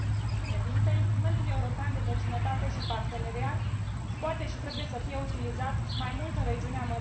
Instrumentul european de vecinătate și parteneriat poate și trebuie să fie utilizat mai mult în regiunea Mării Negre.